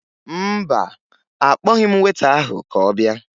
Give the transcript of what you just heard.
Mba, akpọghị m weta ahụ ka ọ bịa